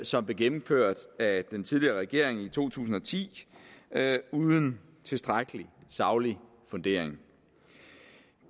som blev gennemført af den tidligere regering i to tusind og ti uden tilstrækkelig saglig fundering